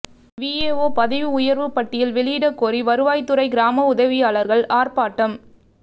VAO பதவி உயர்வு பட்டியல் வெளியிடக்கோரி வருவாய்த்துறை கிராம உதவியாளர்கள் ஆர்ப்பாட்டம்